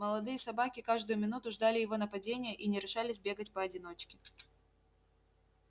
молодые собаки каждую минуту ждали его нападения и не решались бегать поодиночке